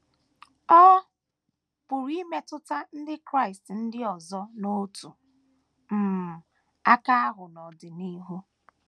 Ọ pụrụ imetụta ndị Kraịst ndị ọzọ n’otu um aka ahụ n’ọdịnihu.